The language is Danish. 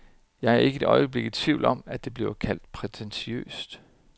Jeg er ikke et øjeblik i tvivl om, at det vil blive kaldt prætentiøst.